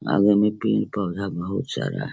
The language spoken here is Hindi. आगे में पेड़-पौधा बहुत सारा --